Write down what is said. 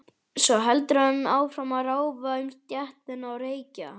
Svo heldur hann áfram að ráfa um stéttina og reykja.